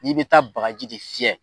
N'i bɛ taa bagaji de fyɛ.